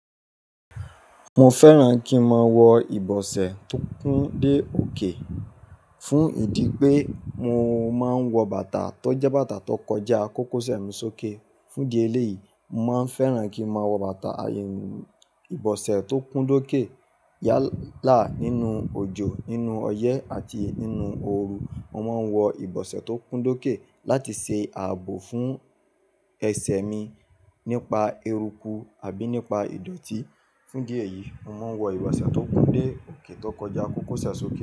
Mo fẹ́ràn kí n máa wọ ìbọ̀sẹ̀ tó kún dé òkè fún ìdí pé mo máa ń wọ bàtà tó jẹ́ bàtà tó kọjá kókóṣẹ̀ mi sókè. Fún di ẹ lé yìí, mo máa ń fẹ́ràn kí n máa wọ bàtà ìbọ̀sẹ̀ tó kún dókè yálà nínú òjò, nínú ọyẹ́ àti nínú ooru. Mo máa ń wọ ìbọ̀sẹ̀ tó kún dókè láti ṣe ààbò fún ẹsẹ̀ mi nípa eruku àbí nípa ìdọ̀tí. Fún di ẹ yìí, mo máa ń wọ ìbọ̀sẹ̀ tó kún dé òkè tó kọjá kókóṣẹ̀ sókè.